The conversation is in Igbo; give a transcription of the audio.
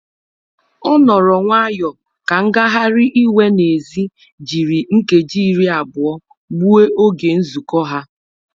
Ọ nọrọ nwayọ ka ngagharị iwe n'èzí jiri nkeji iri abụọ gbuo oge nzụkọ ha.